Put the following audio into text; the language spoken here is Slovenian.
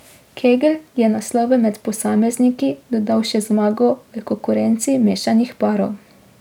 Kegl je naslovu med posamezniki dodal še zmago v konkurenci mešanih parov.